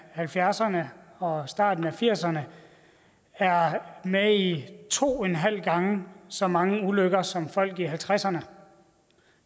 halvfjerdserne og starten af firserne er med i to en halv en gange så mange ulykker som folk i halvtredserne